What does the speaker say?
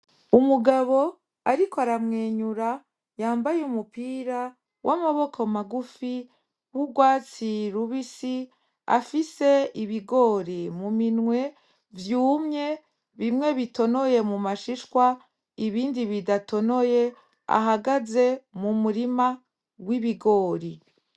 Umugabo ariko aramwenyura yambaye umupira w'amaboko magufi w'urwatsi rubisi afise ibigori mu minwe vyumye bimwe bitonoye m'umashishwa ibindi bidatonoye ahagaze mu murima w'ibigori